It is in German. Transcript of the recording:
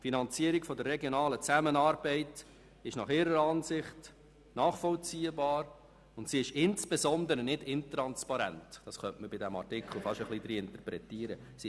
Die Finanzierung der regionalen Zusammenarbeit ist ihrer Ansicht nach nachvollziehbar, und sie ist insbesondere nicht intransparent, was man bei diesem Artikel ein bisschen hineininterpretieren könnte.